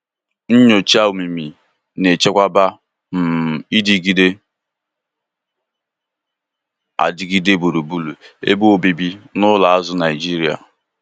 Nnyocha omimi na-echekwaba um idịgide adịgide gburugburu ebe obibi n'ụlọ azụ Naijiria.